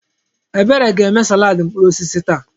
Ebere ga-eme salaadị mkpụrụ osisi taa.